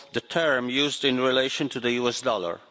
term used in relation to the US dollar.